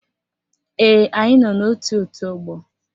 Ee, anyị nọ n'ótù òtú ọgbọ